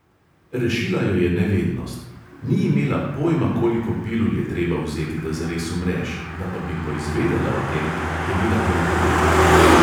Rešila jo je nevednost: ni imela pojma, koliko pilul je treba vzeti, da zares umreš, da pa bi poizvedela o tem, je bila preutrujena.